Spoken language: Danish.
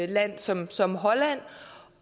land som som holland